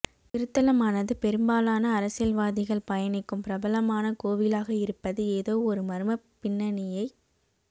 திருத்தலமானது பெரும்பாலான அரசியல்வாதிகள் பயணிக்கும் பிரபலமான கோவிலாக இருப்பது ஏதோ ஒரு மர்மப் பின்னணியைக்